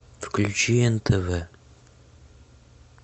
включи нтв